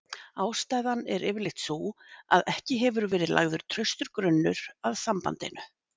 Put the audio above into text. Ástæðan er yfirleitt sú að ekki hefur verið lagður traustur grunnur að sambandinu.